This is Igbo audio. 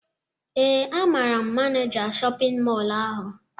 Ee, amaara m Maneja shọpịn mọlụ ahụ